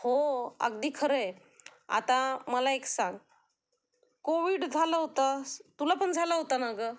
हो अगदी खरं आहे, आता मला एक सांग कोविड झाला होता, तुला पण झाला होता ना ग